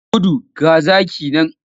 Ka gudu! ga zaki nan.